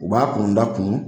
U b'a kunda kun